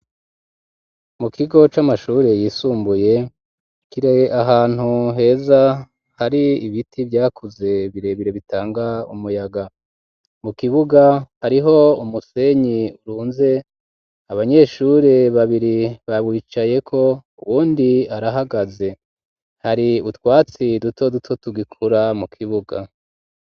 Mu kigo c'amashuri yisumbuye kiri ahantu heza hari ibiti vyakuze birebire bitanga umuyaga mu kibuga hariho umusenyi urunze abanyeshuri babiri bawicayeko uwundi arahagaze hari utwatsi duto duto tugikura mu kibuga.